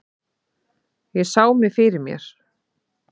Ég sá mig fyrir mér.